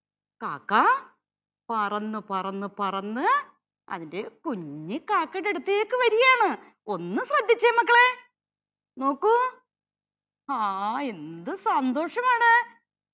കാക്ക പറന്നു പറന്നു പറന്ന് അന്റെ കുഞ്ഞിക്കാക്കയുടെ അടുത്തേക്ക് വരുകയാണ്. ഒന്നു ശ്രദ്ധിച്ചേ മക്കളെ നോക്കൂ. ഹാ എന്തു സന്തോഷമാണ്